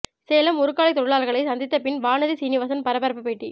சேலம் உருக்காலை தொழிலாளர்களை சந்தித்த பின் வானதி சீனிவாசன் பரபரப்பு பேட்டி